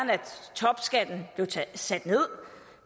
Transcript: topskatten blev sat ned